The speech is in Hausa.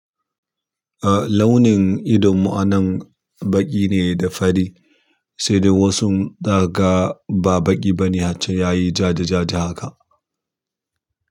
Ah launin ido mu a nan baƙi ne da fari sai dai wasun zakaga ba baƙi ba ne har can yayi jaja-jaja haka.